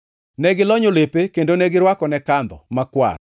Ne gilonyo lepe kendo ne girwakone kandho makwar,